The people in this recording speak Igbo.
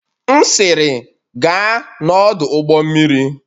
M'siri, gaa n'ọdụ ụgbọ mmiri!